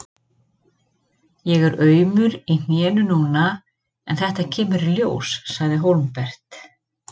Ég er aumur í hnénu núna en þetta kemur í ljós, sagði Hólmbert.